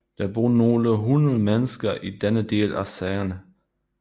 Der bor nogle hundrede mennesker i denne del af Sagene